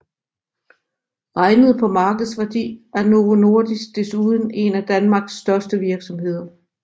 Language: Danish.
Regnet på markedsværdi er Novo Nordisk desuden en af Danmarks største virksomheder